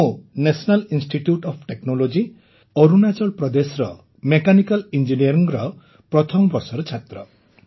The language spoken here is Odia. ମୁଁ national institute of technology Arunachal ପ୍ରଦେଶର ମେକାନିକାଲ୍ ଇଞ୍ଜିନିୟରିଂର ପ୍ରଥମ ବର୍ଷର ଛାତ୍ର